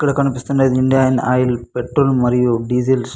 ఇక్కడ కనిపించేది Indian Oil petrol మరియు డీజిల్ --